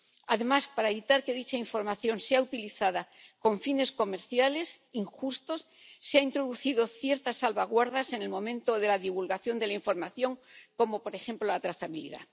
Además, para evitar que dicha información sea utilizada con fines comerciales injustos, se han introducido ciertas salvaguardas en el momento de la divulgación de la información, como, por ejemplo, la trazabilidad.